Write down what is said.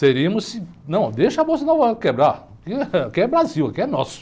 Seríamos, não, deixa a Bolsa de Nova Iorque quebrar, aqui é Brasil, aqui é nosso.